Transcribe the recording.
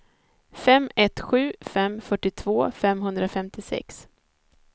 fem ett sju fem fyrtiotvå femhundrafemtiosex